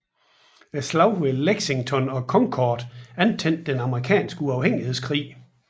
Slaget ved Lexington og Concord antændte den amerikanske uafhængighedskrig